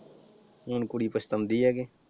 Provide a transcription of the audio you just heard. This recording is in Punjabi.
ਹੁਣ ਕੁੜੀ ਪਛਤਾਉਂਦੀ ਆ ਗੀ।